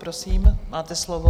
Prosím, máte slovo.